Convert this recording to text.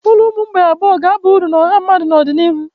Ụlọ ụmụ mgbei abụọ ga-aba uru na ọha mmadụ n'ọdịnihu.